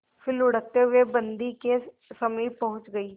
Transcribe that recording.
फिर लुढ़कते हुए बन्दी के समीप पहुंच गई